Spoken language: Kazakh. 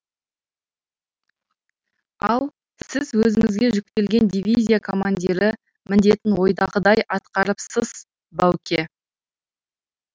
ал сіз өзіңізге жүктелген дивизия командирі міндетін ойдағыдай атқарыпсыз бауке